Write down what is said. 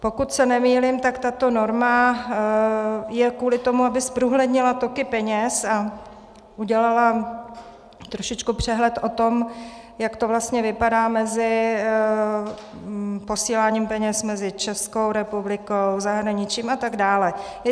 Pokud se nemýlím, tak tato norma je kvůli tomu, aby zprůhlednila toky peněz a udělala trošičku přehled o tom, jak to vlastně vypadá s posíláním peněz mezi Českou republikou, zahraničím a tak dále.